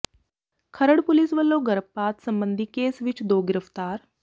Kharar police ਵੱਲੋਂ ਗਰਭਪਾਤ ਸਬੰਧੀ ਕੇਸ ਵਿੱਚ ਦੋ ਗ੍ਰਿਫ਼ਤਾਰ